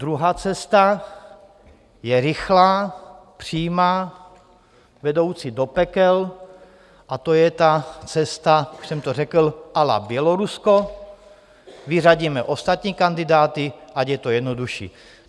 Druhá cesta je rychlá, přímá, vedoucí do pekel, a to je ta cesta, už jsem to řekl, à la Bělorusko - vyřadíme ostatní kandidáty, ať je to jednodušší.